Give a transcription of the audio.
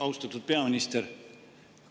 Austatud peaminister!